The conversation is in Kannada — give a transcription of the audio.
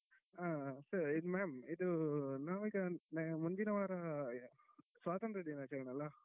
ಹಾ so ma'am ಇದು ನಾವ್ ಈಗ ಮುಂದಿನ ವಾರ ಸ್ವಾತಂತ್ರ ದಿನಾಚರಣೆ ಅಲ್ಲ.